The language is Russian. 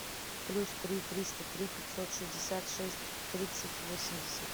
плюс три триста три пятьсот шестьдесят шесть тридцать восемьдесят